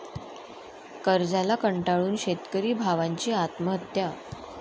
कर्जाला कंटाळून शेतकरी भावांची आत्महत्या